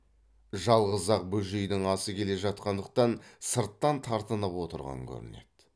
жалғыз ақ бөжейдің асы келе жатқандықтан сырттан тартынып отырған көрінеді